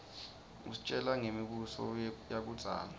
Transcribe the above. isitjela ngemi buso yakuidzala